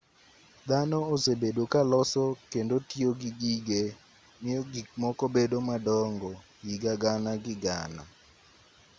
dhano osebedo ka loso kendo tiyo gi gige miyo gik moko bed madongo higa gana gi gana